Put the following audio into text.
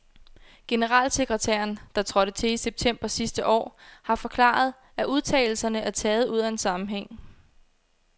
Generalsekretæren, der trådte til i september sidste år, har forklaret, at udtalelserne er taget ud af en sammenhæng.